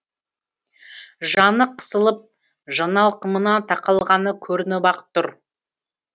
жаны қысылып жаналқымына тақалғаны көрініп ақ тұр